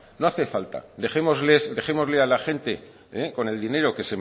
no hace falta dejémosle a la gente con el dinero